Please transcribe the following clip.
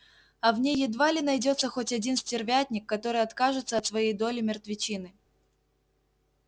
а в ней едва ли найдётся хоть один стервятник который откажется от своей доли мертвечины